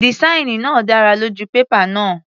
Dìsáìnì náà dára lójú pépà náà.